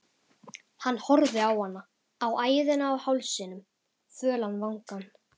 Hann horfði á hana, á æðina á hálsinum, fölan vangann